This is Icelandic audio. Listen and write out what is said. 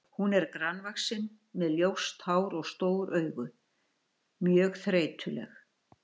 Hún er grannvaxin með ljóst hár og stór augu, mjög þreytuleg.